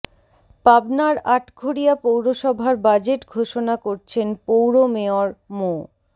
পাবনার আটঘরিয়া পৌরসভার বাজেট ঘোষণা করছেন পৌর মেয়র মো